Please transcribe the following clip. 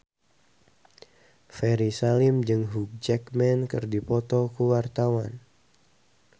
Ferry Salim jeung Hugh Jackman keur dipoto ku wartawan